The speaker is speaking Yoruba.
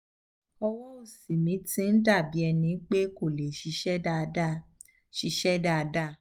ọwọ́ òsì mi ti ń dà bí ẹni pé kò lè ṣiṣẹ́ dáadáa ṣiṣẹ́ dáadáa